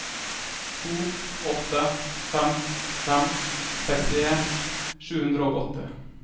to åtte fem fem sekstien sju hundre og åtti